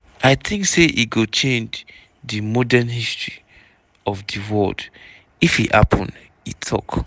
"i tink say e go change di modern history of di world if e happun" e tok.